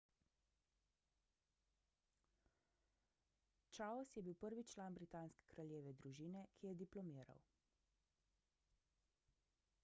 charles je bil prvi član britanske kraljeve družine ki je diplomiral